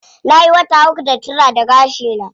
Nayi wata uku da turara gashi na.